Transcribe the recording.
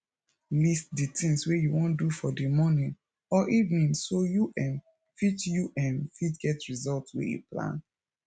list di things wey you wan do for di morning or evening so you um fit you um fit get result wey you plan